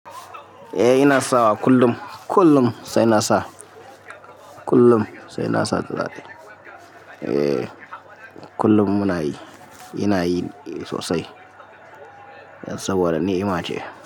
Eh ina sawa kullum, kullum sai na sa kullum sai na sa da tulare. Eh kullum muna yi, ina yi sosai saboda ni ima ce.